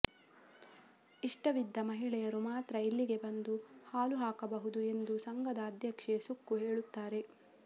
ಇಷ್ಟವಿದ್ದ ಮಹಿಳೆಯರು ಮಾತ್ರ ಇಲ್ಲಿಗೆ ಬಂದು ಹಾಲು ಹಾಕಬಹುದು ಎಂದು ಸಂಘದ ಅಧ್ಯಕ್ಷೆ ಸಕ್ಕು ಹೇಳುತ್ತಾರೆ